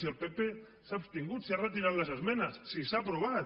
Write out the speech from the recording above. si el pp s’ha abstingut si ha retirat les esmenes si s’ha aprovat